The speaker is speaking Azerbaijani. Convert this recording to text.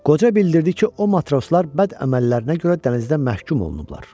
Qoca bildirdi ki, o matroslar bəd əməllərinə görə dənizdə məhkum olunublar.